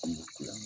An bɛ kule